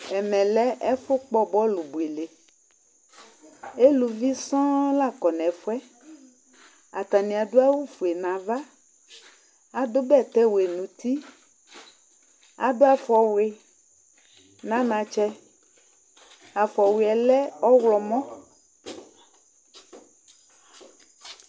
Ɛmɛ lɛ ɛfʋkpɔ bɔlʋ buele Eluvi sɔŋ la kɔ nʋ ɛfʋ yɛ Atanɩ adʋ awʋfue nʋ ava Adʋ bɛtɛwɛ nʋ uti Adʋ afɔwʋɩ nʋ anatsɛ Afɔwʋɩ yɛ lɛ ɔɣlɔmɔ